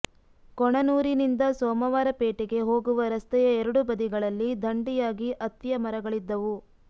ಕೊಣನೂರಿನಿಂದ ಸೋಮವಾರಪೇಟೆಗೆ ಹೋಗುವ ರಸ್ತೆಯ ಎರಡೂ ಬದಿಗಳಲ್ಲಿ ಧಂಡಿಯಾಗಿ ಅತ್ತಿಯ ಮರಗಳಿದ್ದವು